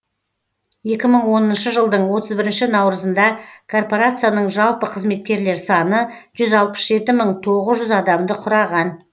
екі мың оныншы жылдың отыз бірінші наурызында корпорацияның жалпы қызметкерлер саны жүз алпыс жеті мың тоғыз жүз адамды құраған